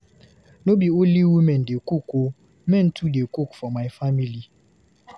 No be only women dey cook o, men too dey cook for my family.